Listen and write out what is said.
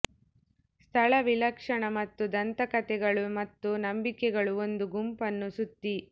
ಸ್ಥಳ ವಿಲಕ್ಷಣ ಮತ್ತು ದಂತಕಥೆಗಳು ಮತ್ತು ನಂಬಿಕೆಗಳು ಒಂದು ಗುಂಪನ್ನು ಸುತ್ತಿ